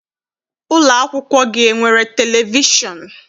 Ụlọakwụkwọ gị enwere televishọn?